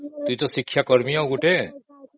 ତୁ ତ ଶିକ୍ଷାକର୍ମୀ ଆଉ ଗୋଟେ